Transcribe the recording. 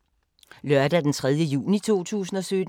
Lørdag d. 3. juni 2017